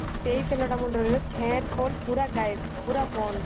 ସେଇ ତେଲ ଟା ମୁଣ୍ଡ ରେ hair fall ପୁରା ଗାଏବ ପୁରା ବନ୍ଦ